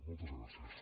moltes gràcies